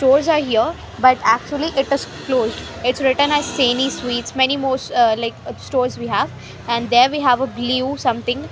Doors are here but actually it is closed. Its written as Saini Sweets many most ah like stores we have and there we have a blue something.